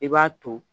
I b'a to